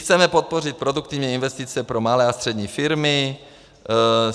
Chceme podpořit produktivní investice pro malé a střední firmy.